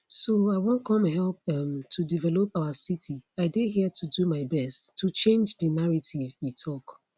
so i wan come help um to develop our city i dey here to do my best to change di narrative e tok